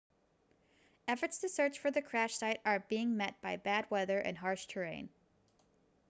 efforts to search for the crash site are being met by bad weather and harsh terrain